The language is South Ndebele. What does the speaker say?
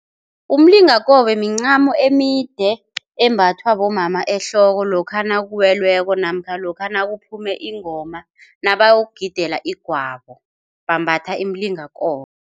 Umlingakobe mincamo emide embathwa bomama ehloko lokha nakuwelweko namkha lokha nakaphume ingoma nabayokugidela igwabo bambatha imilingakobe.